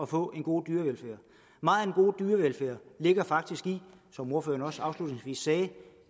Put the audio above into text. få en god dyrevelfærd megen god dyrevelfærd ligger faktisk som ordføreren også afslutningsvis sagde